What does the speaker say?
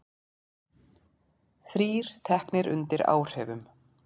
Þrír teknir undir áhrifum